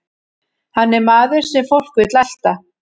Hann er maður sem fólk vill elta.